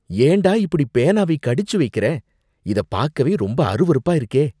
ஏண்டா இப்படி பேனாவை கடிச்சு வைக்கிற இத பாக்கவே ரொம்ப அருவருப்பா இருக்கே.